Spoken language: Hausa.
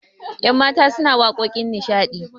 yanmata suna waƙoƙin nishadi